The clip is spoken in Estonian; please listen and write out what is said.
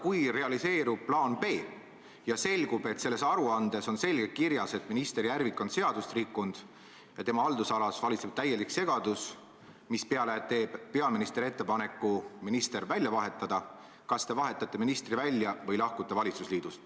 Kui realiseerub plaan B ja selgub, et selles aruandes on selgelt kirjas, et minister Järvik on seadust rikkunud ja tema haldusalas valitseb täielik segadus, mispeale teeb peaminister ettepaneku minister välja vahetada, siis kas te vahetate ministri välja või lahkute valitsusliidust?